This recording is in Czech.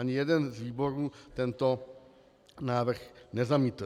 Ani jeden z výborů tento návrh nezamítl.